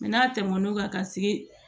n'a tɛmɛn'o kan ka se